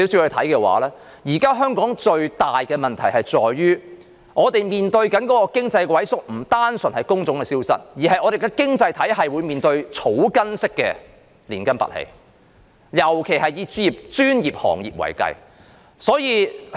香港現時面對的最大問題，在於經濟的萎縮並不單純是工種的消失，而是本港的經濟體系正面對草根式的連根拔起，尤以專業行業為是。